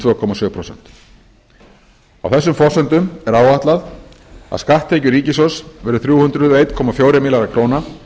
tvö komma sjö prósent á þessum forsendum er áætlað að skatttekjur ríkissjóðs verði þrjú hundruð og einn komma fjórir milljarðar króna